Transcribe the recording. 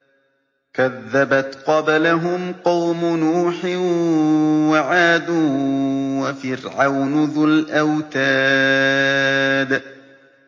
كَذَّبَتْ قَبْلَهُمْ قَوْمُ نُوحٍ وَعَادٌ وَفِرْعَوْنُ ذُو الْأَوْتَادِ